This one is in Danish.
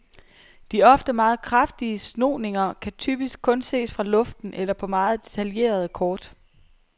De ofte meget kraftige snoninger kan typisk kun ses fra luften eller på meget detaljerede kort.